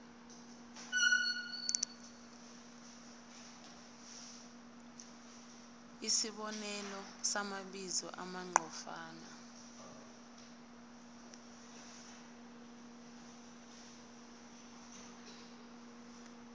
isibonelo samabizo amqondofana